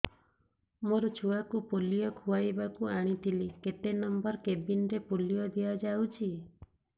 ମୋର ଛୁଆକୁ ପୋଲିଓ ଖୁଆଇବାକୁ ଆଣିଥିଲି କେତେ ନମ୍ବର କେବିନ ରେ ପୋଲିଓ ଦିଆଯାଉଛି